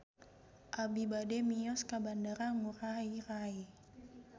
Abi bade mios ka Bandara Ngurai Rai